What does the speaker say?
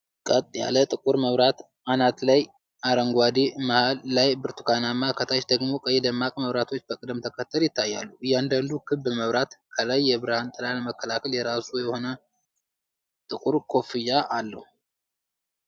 ቀጥ ያለ ጥቁር መብራት አናት ላይ አረንጓዴ፣ መሃል ላይ ብርቱካናማ፣ ከታች ደግሞ ቀይ ደማቅ መብራቶች በቅደም ተከተል ይታያሉ። እያንዳንዱ ክብ መብራት ከላይ የብርሃን ጥላ ለመከላከል የራሱ የሆነ ጥቁር ኮፍያ አለው።